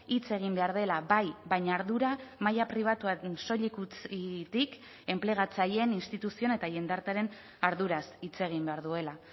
hitz egin behar dela bai baina ardura maila pribatuak soilik utzitik enplegatzaileen instituzioen eta jendartearen arduraz hitz egin behar duela